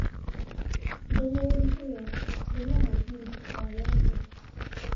Ndũmĩrĩri ĩyo ndĩrĩ na mũthingi o wothe.